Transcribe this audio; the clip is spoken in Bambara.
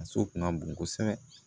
Muso kun ka bon kosɛbɛ